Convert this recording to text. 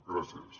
gràcies